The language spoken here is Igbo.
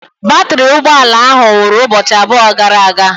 Batrị ụgbọ ala ahụ nwụrụ ụbọchị abụọ gara aga.